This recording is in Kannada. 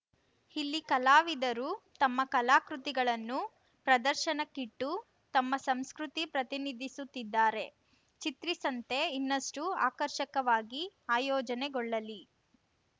ಇಲ್ಲಿ ಕಲಾವಿದರು ತಮ್ಮ ಕಲಾಕೃತಿಗಳನ್ನು ಪ್ರದರ್ಶನಕ್ಕಿಟ್ಟು ತಮ್ಮ ಸಂಸ್ಕೃತಿ ಪ್ರತಿನಿಧಿಸುತ್ತಿದ್ದಾರೆ ಚಿತ್ರಿಸಂತೆ ಇನ್ನಷ್ಟುಆಕರ್ಷಕವಾಗಿ ಆಯೋಜನೆಗೊಳ್ಳಲಿ